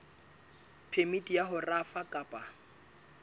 phemiti ya ho rafa kapa